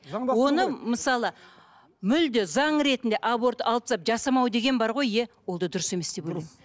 оны мысалы мүлде заң ретінде аборт алып тастап жасамау деген бар ғой иә ол да дұрыс емес деп ойлаймын дұрыс